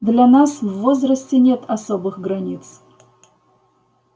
для нас в возрасте нет особых границ